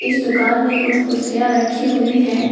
इस दुकान में कुछ कुर्सियां रखी हुई हैं।